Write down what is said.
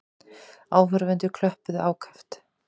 Áhorfendur klöppuðu ákaft.